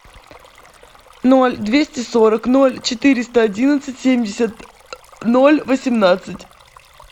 ноль двести сорок ноль четыреста одиннадцать семьдесят ноль восемнадцать